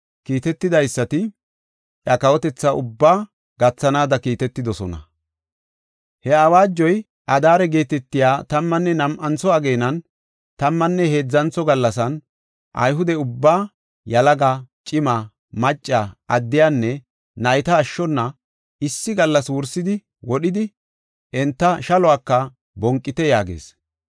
kiitetidaysati iya kawotethaa ubbaa gathanaada kiitetidosona. He awaajoy, “Adaare geetetiya tammanne nam7antho ageenan tammanne heedzantho gallasan, Ayhude ubbaa, yalaga, cima, macca, addiyanne, nayta ashshona issi gallas wursidi wodhidi; enta shaluwaka bonqite” yaagees.